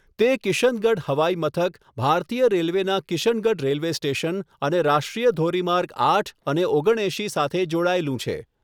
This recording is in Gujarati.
તે કિશનગઢ હવાઈમથક, ભારતીય રેલવેના કિશનગઢ રેલવે સ્ટેશન અને રાષ્ટ્રીય ધોરીમાર્ગ આઠ અને ઓગણએંશી સાથે જોડાયેલું છે.